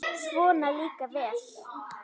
Svona líka vel!